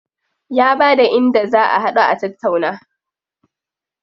Ya bada inda za a haɗu a tattauna.